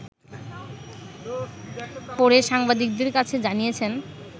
পরে সাংবাদিকদের কাছে জানিয়েছেন